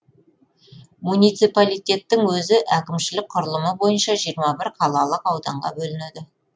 муниципалитеттің өзі әкімшілік құрылымы бойынша жиырма бір қалалық ауданға бөлінеді